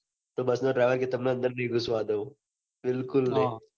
bus નો driver કે તમન અંદર નહી ઘુસવા દઉં બિલકુલ નહી